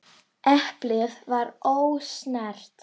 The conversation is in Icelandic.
Eplið var ósnert.